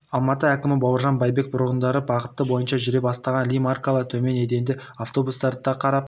алматы әкімі бауыржан байбек бұрындары бағыты бойынша жүре бастаған ли маркалы төмен еденді автобустарды да қарап